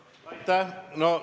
Aitäh!